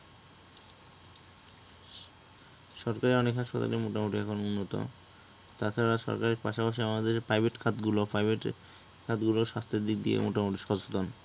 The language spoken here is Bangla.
সরকারি অনেক হাসপাতালে মোটামুটি এখন উন্নত, তাছাড়া সরকারির পাশাপাশি আমাদের যে private খাতগুলো, private খাতগুলো স্বাস্থ্যের দিক দিয়ে মোটামুটি সচেতন